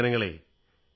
ജയ് ഹിന്ദ് ജയ് ഹിന്ദ്